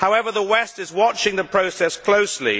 However, the West is watching the process closely.